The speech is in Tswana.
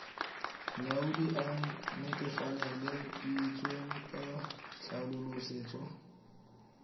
molaodi a netefaleditsweng ka tlhaolosetso